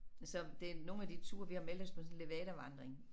Så det nogle af de ture vi har meldt os på sådan en levadavandring